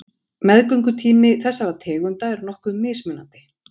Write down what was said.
Meðgöngutími þessara tegunda er nokkuð mismunandi.